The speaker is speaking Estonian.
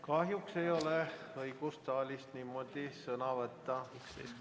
Kahjuks ei ole õigust saalist niimoodi sõna võtta.